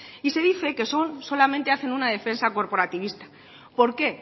y se dice que solamente hacen una defensa corporativista por qué